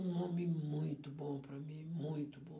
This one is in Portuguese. Um homem muito bom para mim, muito bom.